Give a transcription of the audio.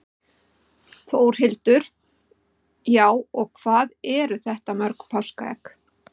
Þórhildur: Já, og hvað eru þetta mörg páskaegg?